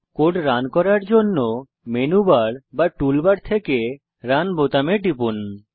code run করার জন্য menu bar বা টুল বার থেকে রান বাটনে টিপুন